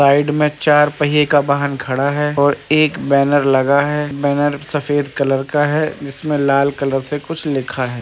side में चार पहिये का वाहन खड़ा है और एक बैनर लगा है बैनर सफ़ेद कलर का है जिसमें लाल कलर से कुछ लिखा है |